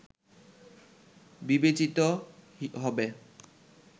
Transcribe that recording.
বিবেচিত হবে